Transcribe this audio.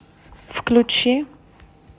включи